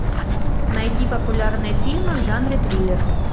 найди популярные фильмы в жанре триллер